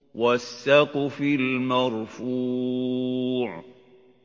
وَالسَّقْفِ الْمَرْفُوعِ